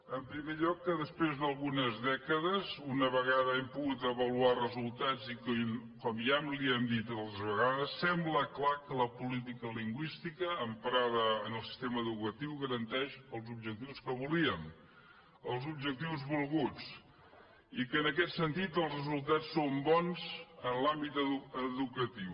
en primer lloc que després d’algunes dècades una vegada hem pogut avaluar resul·tats i com ja li hem dit altres vegades sembla clar que la política lingüística emprada en el sistema educatiu garanteix els objectius que volíem els objectius volguts i que en aquest sentit els resultats són bons en l’àmbit educatiu